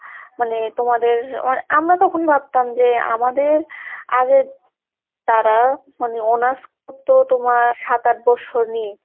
মানে তোমাদের মানে আমরা তখনই ভাবতাম যে আমাদের আগের তারা মানে honors করতো তোমার সাত আট বছর নিয়ে।